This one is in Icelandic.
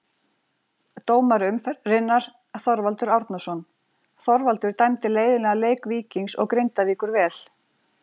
Dómari umferðarinnar: Þorvaldur Árnason Þorvaldur dæmdi leiðinlega leik Víkings og Grindavíkur vel.